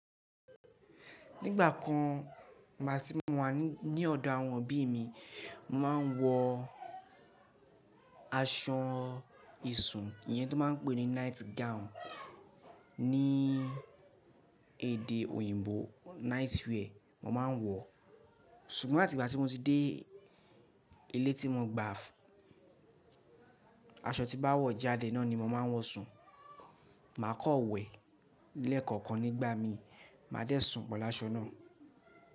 Nígbà kan bí mo bá ti wà ní ọ̀dọ̀ àwọn òbí mi, mo máa ń wọ aṣọ ìṣùn iyẹn tó máa ń pè ní night gown ní èdè òyìnbó night wear mo máa ń wọ. Ṣùgbọ́n láti ìgbà tí mo ti dé ilé tí mo gba, aṣọ tí bá wọ̀ jáde náà ni mo máa ń wọ sùn. Màá kọ̀ wẹ̀ lẹ́ẹ̀kọ̀kan nígbà mi, máa dé sùn pelu ásọ náà.